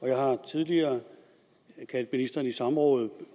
jeg har tidligere kaldt ministeren i samråd